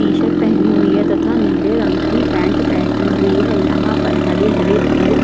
T shirt पहनी हुई है तथा नीले रंग की पेंट पहनी हुई है यहाँ पर हरे हरे पेड़ --